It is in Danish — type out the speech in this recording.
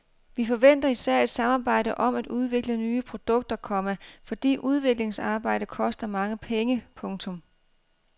Vi forventer især et samarbejde om at udvikle nye produkter, komma fordi udviklingsarbejde koster mange penge. punktum